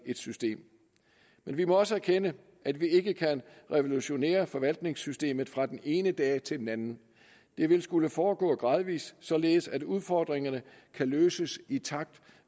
system vi må også erkende at vi ikke kan revolutionere forvaltningssystemet fra den ene dag til den anden det vil skulle foregå gradvis således at udfordringerne kan løses i takt